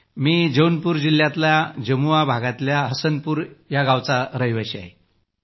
मी जौनपूर जिल्ह्यातल्या जमुआ भागातल्या हसनपूर या गावात वास्तव्य करतो